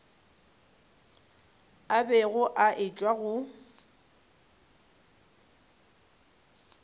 a bego a etšwa go